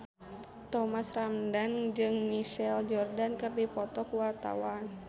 Thomas Ramdhan jeung Michael Jordan keur dipoto ku wartawan